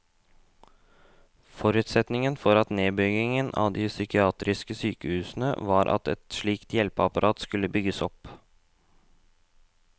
Forutsetningen for nedbyggingen av de psykiatriske sykehusene var at et slikt hjelpeapparat skulle bygges opp.